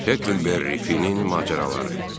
Hecklberry Finnin macəraları.